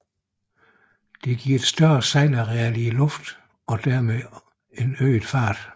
Dette giver et større sejlareal i luften og dermed øget fart